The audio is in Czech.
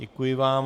Děkuji vám.